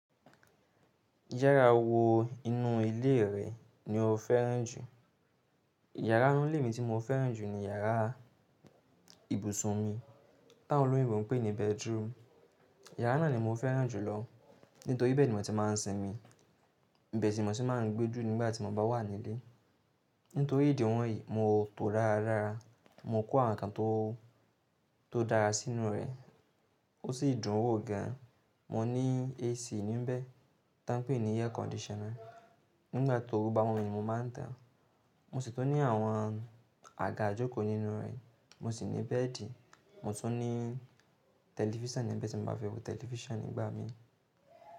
Yárà wo inú ilé rẹ ni o fẹ́ràn jù? Yàrá inú ilé mi tí mo fẹ́ràn jù ni yàrá ibùsùn mi. Tán olóyìnbó ń pè ní bedroom. Yàrá náà ni mo fẹ́ràn jùlọ nítorí ibẹ̀ ni mo ti máa ń sinmi, ibẹ̀ sì mo si máa ń gbéjù nígbà tí mo bá wà nílé. Nítorí ìdí wọ̀nyí mo tòó dáradára, mo kó àwọn ǹkan tó dára sínú rẹ̀. Ó sì dùn ún wò gan. Mo ní AC níbẹ̀ tá ń pè ní air conditioner. Nígbà tó bá wún ni mo máa ń tàán. Mo sì tún ní àwọn àga ìjòkò nínú rẹ̀. Mo sì ní bẹ́ẹ̀dì. Mo tún ní tẹlifíṣàn níbẹ̀ tí mo bá fẹ́ wo tẹlifíṣàn nígbà mí.